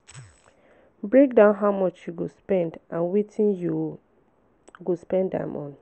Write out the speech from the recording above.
break down how much you go spend and wetin you go spend am on